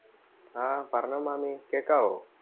ആ പറഞ്ഞോ മാമി കേക്കാവോ?